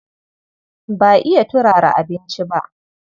Ba iya turara abinci ba.